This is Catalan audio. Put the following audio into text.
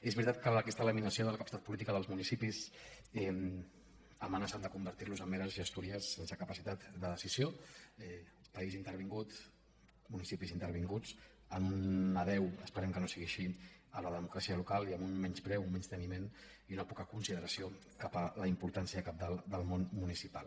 és veritat que aquesta laminació de la capacitat po·lítica dels municipis ha amenaçat de convertir·los en meres gestories sense capacitat de decisió un país in·tervingut municipis intervinguts en un adéu espe·rem que no sigui així a la democràcia local i amb un menyspreu un menysteniment i una poca considera·ció cap a la importància cabdal del món municipal